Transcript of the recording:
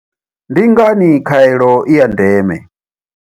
Ndi ngani khaelo i ya ndeme?